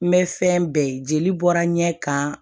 N bɛ fɛn bɛɛ ye jeli bɔra n ɲɛ kan